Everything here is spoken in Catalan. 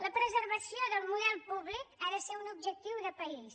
la preservació del model públic ha de ser un objectiu de país